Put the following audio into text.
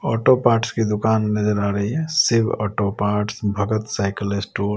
auto parts की दुकान नजर आ रही है Shiv auto parts Bhagat cycle store --